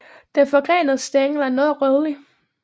Den forgrenede stængel er noget rødlig